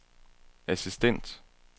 assistent